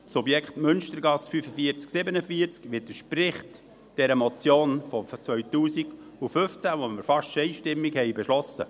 Das Objekt Münstergasse 45/47 widerspricht der Motion die wir 2015 fast einstimmig überwiesen haben.